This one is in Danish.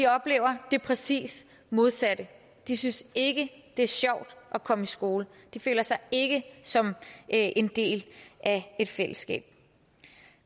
oplever det præcis modsatte de synes ikke det er sjovt at komme i skole de føler sig ikke som en del af et fællesskab